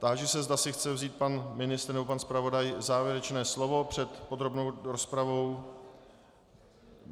Táži se, zda si chce vzít pan ministr nebo pan zpravodaj závěrečné slovo před podrobnou rozpravou.